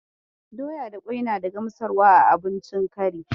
Doya da ƙwai na da gamsarwa a abincin kari.